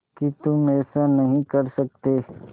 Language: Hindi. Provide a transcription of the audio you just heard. कि तुम ऐसा नहीं कर सकते